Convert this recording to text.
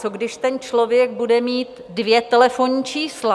Co když ten člověk bude mít dvě telefonní čísla?